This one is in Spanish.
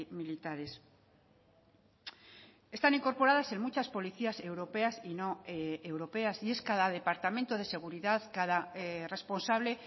militares están incorporadas en muchas policías europeas y no europeas y es cada departamento de seguridad cada responsable